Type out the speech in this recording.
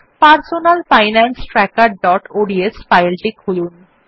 personal finance trackerঅডস ফাইলটি খুলুন